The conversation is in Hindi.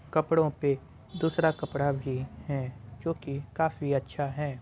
कपड़ों पे दूसरा कपड़ा भी है जो कि काफी अच्छा भी है।